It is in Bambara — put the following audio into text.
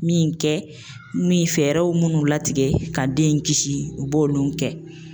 Min kɛ min fɛɛrɛw minnu latigɛ ka den in kisi u b'olu kɛ